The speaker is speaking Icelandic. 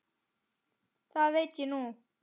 Það veit ég núna.